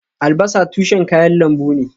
Albasa tushen kayan lambu ne